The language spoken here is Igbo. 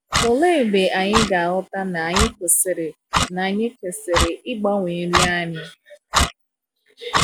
Olee mgbe anyị ga-aghọta na anyị kwesịrị na anyị kwesịrị ịgbanwe nri anyị?